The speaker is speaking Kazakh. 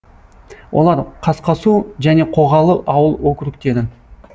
олар қасқасу және қоғалы ауыл округтері